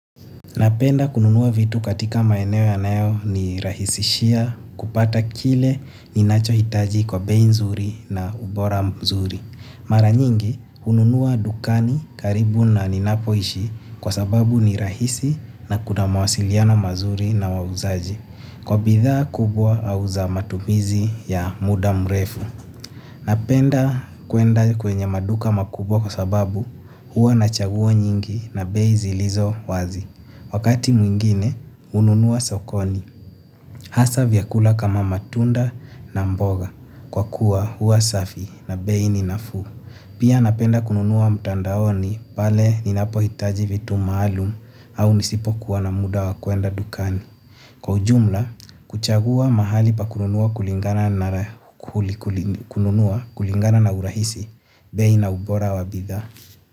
Napenda kununuwa vitu katika maeneo yanayo nirahisishia kupata kile ninacho hitaji kwa bei nzuri na ubora mzuri. Mara nyingi kununuwa dukani karibu na ninapoishi kwa sababu ni rahisi na kuna mawasiliano mazuri na wauzaji. Kwa bidhaa kubwa au za matumizi ya muda mrefu. Napenda kwenda kwenye maduka makubwa kwa sababu huwa na chaguo nyingi na bezi zilizo wazi. Wakati mwingine hununua sokoni hasa vyakula kama matunda na mboga kwa kuwa huwa safi na bei ni nafuu. Pia napenda kununua mtandaoni pale ninapo hitaji vitu maalum au nisipo kuwa na muda wa kuenda dukani. Kwa ujumla kuchagua mahali pa kununua kulingana na urahisi bei na ubora wa bidhaa.